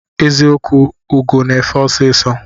Eziokwụ ugo na efe ọsisọ.